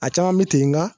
A caman bɛ ten nka